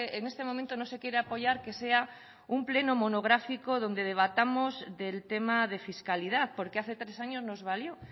en este momento no se quiere apoyar que sea un pleno monográfico donde debatamos del tema de fiscalidad porque hace tres años nos valió